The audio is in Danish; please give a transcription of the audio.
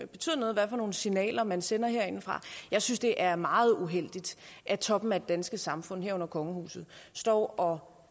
betyder noget hvad for nogle signaler man sender herindefra jeg synes det er meget uheldigt at toppen af det danske samfund herunder kongehuset står og